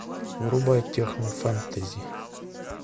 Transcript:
врубай техно фэнтези